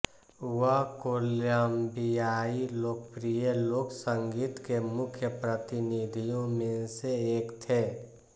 वह कोलंबियाई लोकप्रिय लोक संगीत के मुख्य प्रतिनिधियों में से एक थे